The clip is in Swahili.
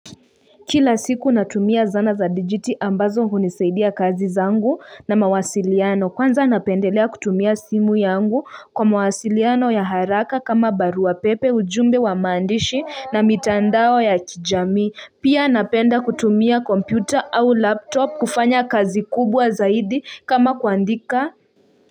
Kila siku natumia zana za digiti ambazo hunisaidia kazi zangu na mawasiliano kwanza napendelea kutumia simu yangu kwa mawasiliano ya haraka kama barua pepe ujumbe wa maandishi na mitandao ya kijamii pia napenda kutumia kompyuta au laptop kufanya kazi kubwa zaidi kama kuandika.